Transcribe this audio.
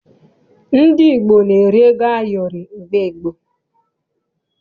Ndị Igbo na-eri ego ayọrị mgbe gboo.